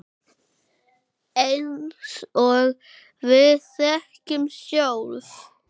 Eins og við þekkjum sjálf.